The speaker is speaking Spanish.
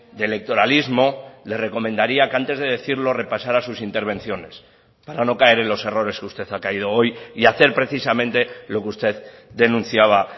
de electoralismo le recomendaría que antes de decirlo repasara sus intervenciones para no caer en los errores que usted ha caído hoy y hacer precisamente lo que usted denunciaba